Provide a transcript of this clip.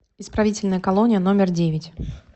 исправительная колония номер девять